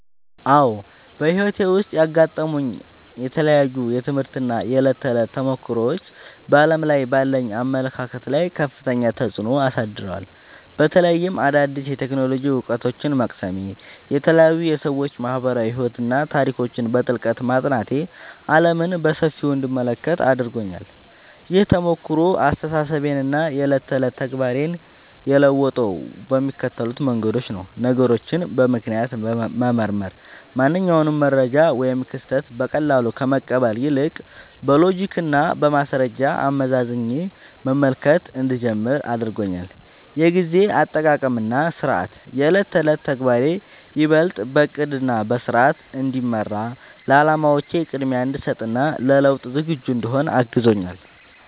አዎ፣ በሕይወቴ ውስጥ ያጋጠሙኝ የተለያዩ የትምህርት እና የዕለት ተዕለት ተሞክሮዎች በዓለም ላይ ባለኝ አመለካከት ላይ ከፍተኛ ተጽዕኖ አሳድረዋል። በተለይም አዳዲስ የቴክኖሎጂ እውቀቶችን መቅሰሜ፣ የተለያዩ የሰዎች ማኅበራዊ ሕይወትና ታሪኮችን በጥልቀት ማጥናቴ ዓለምን በሰፊው እንድመለከት አድርጎኛል። ይህ ተሞክሮ አስተሳሰቤንና የዕለት ተዕለት ተግባሬን የለወጠው በሚከተሉት መንገዶች ነው፦ ነገሮችን በምክንያት መመርመር፦ ማንኛውንም መረጃ ወይም ክስተት በቀላሉ ከመቀበል ይልቅ፣ በሎጂክና በማስረጃ አመዛዝኜ መመልከት እንድጀምር አድርጎኛል። የጊዜ አጠቃቀምና ሥርዓት፦ የዕለት ተዕለት ተግባሬ ይበልጥ በዕቅድና በሥርዓት እንዲመራ፣ ለዓላማዎቼ ቅድሚያ እንድሰጥ እና ለለውጥ ዝግጁ እንድሆን አግዞኛል።